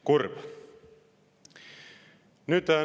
Kurb!